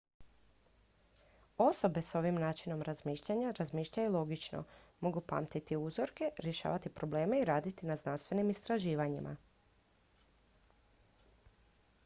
osobe s ovim načinom razmišljanja razmišljaju logično mogu pamtiti uzorke riješavati probleme i raditi na znanstvenim istraživanjima